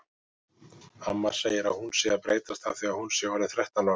Amma segir að hún sé að breytast af því að hún sé orðin þrettán ára.